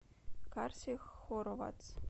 карси хоровац